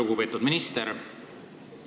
Väga lugupeetud minister!